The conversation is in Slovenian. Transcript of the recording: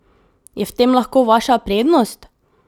Je v tem lahko vaša prednost?